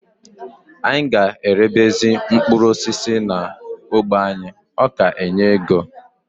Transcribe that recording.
Anyị ga erebezi mkpụrụ osisi n'ógbè anyị, ọ ka enye ego